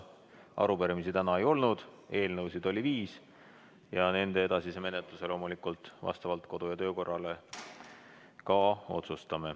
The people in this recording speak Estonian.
Arupärimisi täna ei olnud, eelnõusid oli viis ja nende edasise menetluse otsustame loomulikult vastavalt kodu- ja töökorrale.